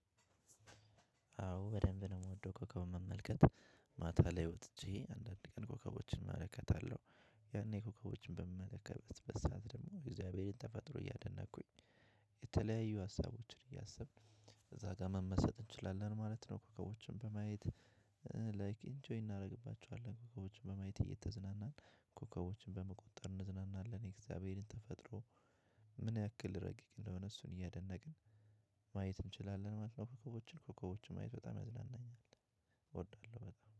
አዎ በደንብ ነው የምወደው ኮከብ መመልከት ማታ ላይ ወጥቼ አንዳንድ ቀን ኮከቦችን እመለከታለሁ። ያኔ ኮከቦችን በምመለከትበት ሰዓት ደግሞ የእግዚአብሔርን ተፈጥሮ እያደነቅኩኝ። የተለያዩ ሀሳቦችን እያሰብን ከዛ ጋር መመሰጥ እንችላለን ማለት ነው። ኮከቦችን በማየት ላይክ ኢንጆይ እናደርግባቸዋለን። ኮከቦችን በማየት እየተዝናናን ኮከቦችን በመጠቁር እንዘናናለን የእግዚአብሔርን ተፈጥሮ። ምን ያክል ረቂቅ እንደሆነ እሱን እያደነቅን። ማየት እንችላለን ማለት ነው። ኮከቦችን ኮከቦችን ማየት በጣም ያዝናኛል። እወዳለሁ በጣም